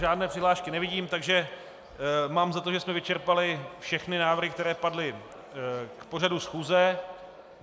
Žádné přihlášky nevidím, takže mám za to, že jsme vyčerpali všechny návrhy, které padly k pořadu schůze.